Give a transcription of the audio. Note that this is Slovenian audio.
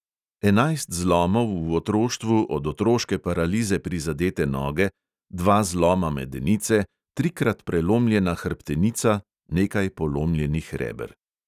Enajst zlomov v otroštvu od otroške paralize prizadete noge, dva zloma medenice, trikrat prelomljena hrbtenica, nekaj polomljenih reber ...